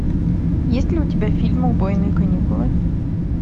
есть ли у тебя фильм убойные каникулы